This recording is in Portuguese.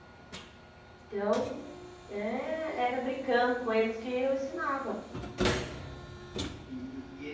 Então, eh era brincando com eles que eu ensinava. E e e eh